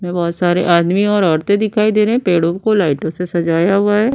बोहोत सारे आदमी और औरतें दिखाई दे रहे हैं। पेड़ों को लाइटो से सजाया हुआ है।